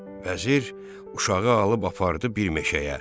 Vəzir uşağı alıb apardı bir meşəyə.